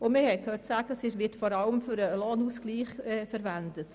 Und wir haben gehört, das Geld werde vor allem für den Lohnausgleich verwendet.